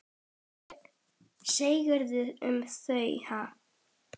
Hvað segirðu um þau, ha?